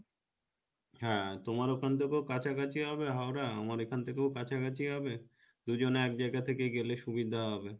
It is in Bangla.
হ্যাঁ তোমার ওখান থেকেও কাছাকাছি হবে হাওড়া আমার এখান থেকেও কাছাকাছি হবে দুজনে এক জায়গা থেকে গেলে সুবিধা হবে